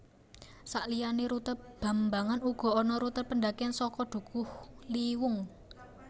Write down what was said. Sakliyané rute bambangan uga ana rute pendakian saka Dukuhliwung